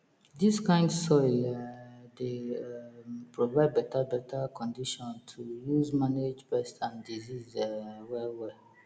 dis kind soil um dey um provide beta beta condition to use manage pest and disease um well well